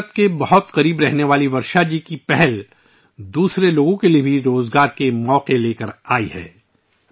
ورشا جی کی اس پہل سے ، جو فطرت سے بے حد پیار کرتے ہیں، دوسرے لوگوں کے لیے بھی روزگار کے مواقع پیدا ہوئے ہیں